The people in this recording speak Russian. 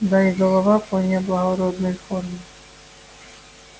да и голова вполне благородной формы